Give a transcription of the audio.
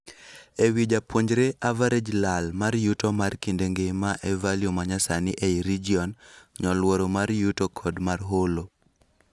Ewii japuonjre average lal mar yuto mar kinde nhgima e value manyasani ei region ,nyoluoro mar yuto kod mar holo.